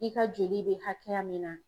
I ka joli be hakɛya min na